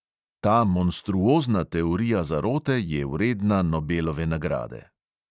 Ta monstruozna teorija zarote je vredna nobelove nagrade.